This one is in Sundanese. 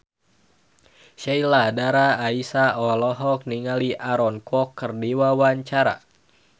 Sheila Dara Aisha olohok ningali Aaron Kwok keur diwawancara